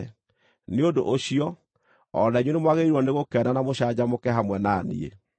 Nĩ ũndũ ũcio, o na inyuĩ nĩmwagĩrĩirwo nĩgũkena na mũcanjamũke hamwe na niĩ.